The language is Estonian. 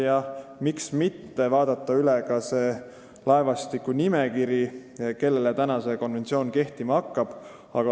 Ja miks mitte vaadata üle ka see laevastiku nimekiri, kellele see konventsioon kehtima hakkab.